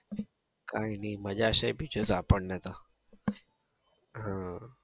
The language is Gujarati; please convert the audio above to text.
કાંઈ નઈ મજા છે બીજું તો આપડને તો ઉહ